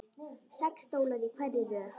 Sex stólar í hverri röð.